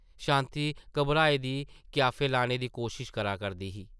शांति घाबरी दी क्याफे लाने दी कोशश करदी ही ।